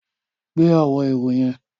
Gbé àwọn èrò yẹn.